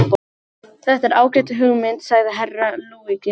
Þetta er ágæt hugmynd, sagði Herra Luigi.